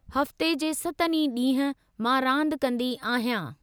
हफ़्ते जे सतनि ई ॾींहुं, मां रादि कंदी आहियां।